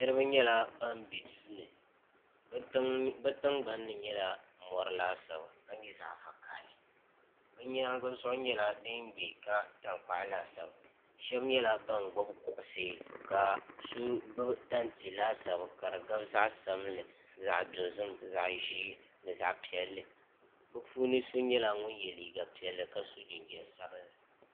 niraba nyɛla ban bɛ duu ni bi tingbanni nyɛla mori laasabu ka nyɛ zaɣ vakaɣali bi nyaangi zuɣu nyɛla din bɛ ka tankpaɣu laasabu shab nyɛla ban gbubi kuɣusi ka so gbubi tanti laasabu ka di gabi zaɣ sabinli zaɣ dozim ni zaɣ ʒiɛ bi so nyɛla ŋun yɛ liiga piɛli ka so jinjɛm sabinli